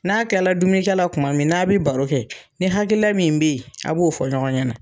N'a kila la dumuni kɛ la kuma min n'a bi baro kɛ, ni hakilila min be yen a b'o fɔ ɲɔgɔn ɲɛ na.